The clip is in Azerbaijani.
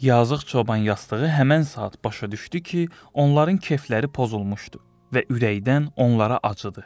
Yazıq çoban yastığı həmən saat başa düşdü ki, onların kefləri pozulmuşdu və ürəkdən onlara acıdı.